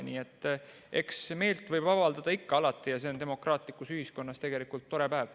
Nii et eks meelt võib avaldada ikka alati ja see on demokraatlikus ühiskonnas tegelikult tore päev.